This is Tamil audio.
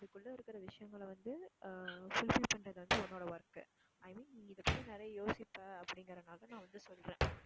இதுக்குள்ள இருக்குற விஷயங்களை வந்து ஆஹ் fulfill பண்றது வந்து உன்னோட work உ i mean நீ இதை பத்தி நிறைய யோசிப்ப அப்படிங்கிறதுனால தான் வந்து சொல்றேன்.